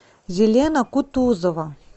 елена кутузова